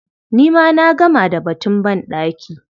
Ni ma na gama da batun banɗaki.